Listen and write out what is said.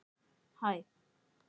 Tímir ekki að missa mig.